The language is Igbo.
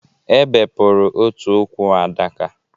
E bepụrụ otu ụkwụ Adaka